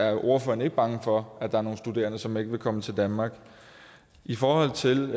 er ordføreren ikke bange for at der er nogle studerende som ikke vil komme til danmark i forhold til